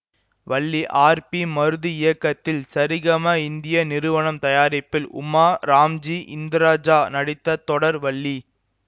Valli R P Marudhu இயக்கத்தில் சரிகம இந்திய நிறுவனம் தயாரிப்பில் உமா ராம்ஜி இந்திரஜா நடித்த தொடர் வள்ளி